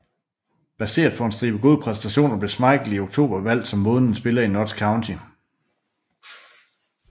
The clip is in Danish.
Baseret på en stribe gode præstationer blev Schmeichel i oktober udvalgt som månedens spiller i Notts County